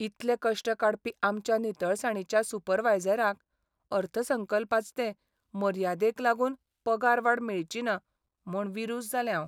इतले कश्ट काडपी आमच्या नितळसाणीच्या सुपरवायझराक अर्थसंकल्पाचते मर्यादेक लागून पगारवाड मेळचीना म्हूण विरूस जालें हांव.